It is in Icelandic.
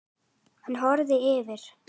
Hann horfir yfir